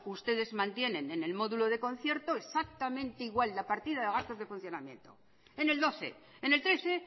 ustedes mantienen en el módulo de concierto exactamente igual la partida de gastos de funcionamiento en el doce en el trece